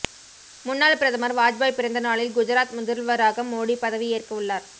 முன்னாள் பிரதமர் வாஜ்பாய் பிறந்த நாளில் குஜராத் முதல்வராக மோடி பதவி ஏற்கவுள்ளார்